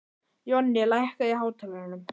Jonni, lækkaðu í hátalaranum.